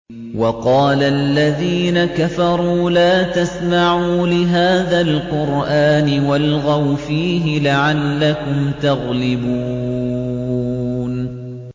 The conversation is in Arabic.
وَقَالَ الَّذِينَ كَفَرُوا لَا تَسْمَعُوا لِهَٰذَا الْقُرْآنِ وَالْغَوْا فِيهِ لَعَلَّكُمْ تَغْلِبُونَ